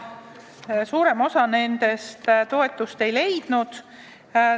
Suurem osa nendest toetust ei leidnud.